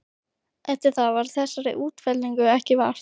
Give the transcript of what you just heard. Eftir það varð þessara útfellinga ekki vart.